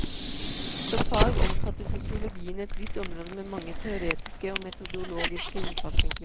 Som fag omfatter sosiologien et vidt område med mange teoretiske og metodologiske innfallsvinkler.